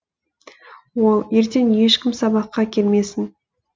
ол ертең ешкім сабаққа келмесін